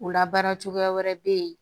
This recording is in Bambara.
O labaara cogoya wɛrɛ bɛ yen